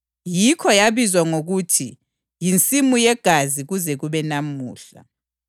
Yikho yabizwa ngokuthi yiNsimu yeGazi kuze kube namuhla.